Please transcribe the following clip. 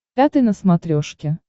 пятый на смотрешке